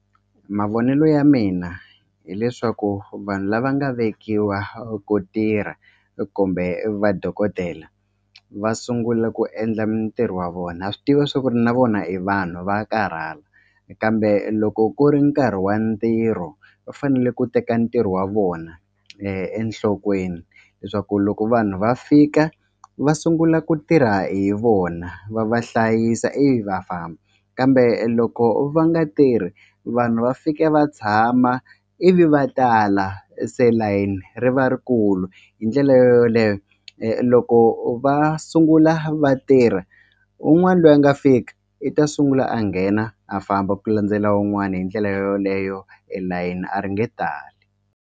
Mavonelo ya mina hileswaku vanhu lava nga vekiwa ku tirha kumbe vadokodela va sungula ku endla mitirho wa vona ha swi tiva swa ku ri na vona i vanhu va karhala kambe loko ku ri nkarhi wa ntirho va fanele ku teka ntirho wa vona enhlokweni leswaku loko vanhu va fika va sungula ku tirha hi vona va va hlayisa ivi va famba kambe loko va nga tirhi vanhu va fika va tshama ivi va tala se layini ri va rikulu hi ndlela yo yoleyo loko va sungula vatirha un'wani lweyi a nga fika i ta sungula a nghena a famba ku landzela wun'wani hi ndlela yo yoleyo elayeni a ri nge tali.